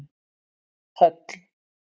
Höll